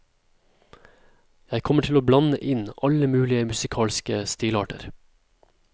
Jeg kommer til å blande inn alle mulige musikalske stilarter.